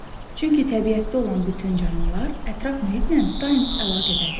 Çünki təbiətdə olan bütün canlılar ətraf mühitlə daim əlaqədədir.